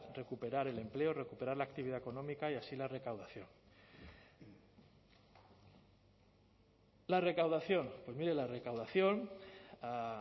recuperar el empleo recuperar la actividad económica y así la recaudación la recaudación pues mire la recaudación a